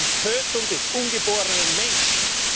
Es geht um die Tötung des ungeborenen Menschen!